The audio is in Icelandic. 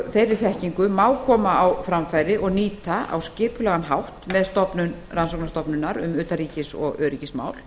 þeirri þekkingu má koma á framfæri og nýta á skipulegan hátt með stofnun rannsóknarstofnunar um utanríkis og öryggismál